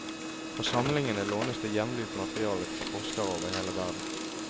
Fra samlingene lånes det jevnlig ut materiale til forskere over hele verden.